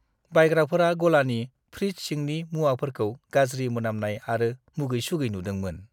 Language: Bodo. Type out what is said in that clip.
बायग्राफोरा गलानि फ्रिड्ज सिंनि मुवाफोरखौ गाज्रि मोनामनाय आरो मुगै-सुगै नुदोंमोन।